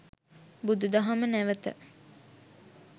බුදුදහම නැවත